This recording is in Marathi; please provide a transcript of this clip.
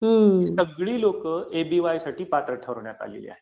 सगळी लोकं एपीवाय साठी पात्र ठरवण्यात आली आहेत